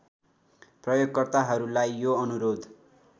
प्रयोगकर्ताहरूलाई यो अनुरोध